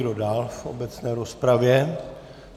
Kdo dál v obecné rozpravě?